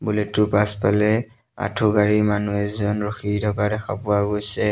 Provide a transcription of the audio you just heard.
বুলেটটোৰ পাছফালে আঠুকাঢ়ি মানুহ এজন ৰখি থকা দেখা পোৱা গৈছে।